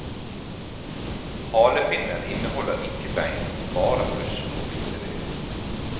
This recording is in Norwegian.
Halefinnen inneholder ikke bein, bare brusk og bindevev.